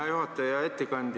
Hea juhataja!